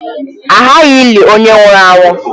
A ghaghị ịli onye nwụrụ anwụ.